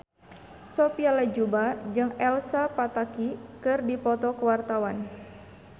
Sophia Latjuba jeung Elsa Pataky keur dipoto ku wartawan